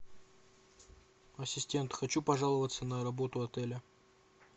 ассистент хочу пожаловаться на работу отеля